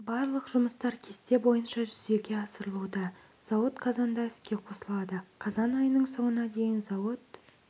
барлық жұмыстар кесте бойынша жүзеге асырылуда зауыт қазанда іске қосылады қазан айының соңына дейін зауыт